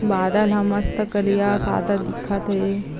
बादल ह मस्त कालिया सादा दिखत हे ।